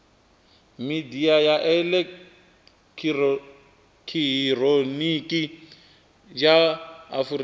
midia ya elekihironiki ya afurika